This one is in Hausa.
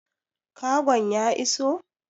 Kagon ya iso?